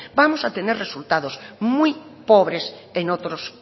vamos a tener resultados muy pobres en otros